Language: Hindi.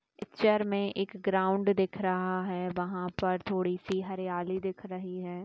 पिक्चर में एक ग्राउंड दिख रहा है। वहां पर थोड़ी सी हरियाली दिख रही है।